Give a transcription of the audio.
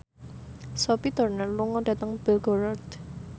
Sophie Turner lunga dhateng Belgorod